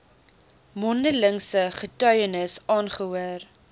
mondelingse getuienis aangehoor